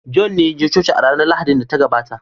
john yaje coci a ranar Lahadin da ta gabata